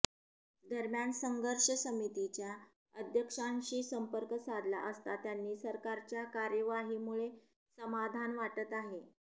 दरम्यान संघर्ष समितीच्या अध्यक्षांशी संपर्क साधला असता त्यांनी सरकारच्या कार्यवाहीमुळे समाधान वाटत आहे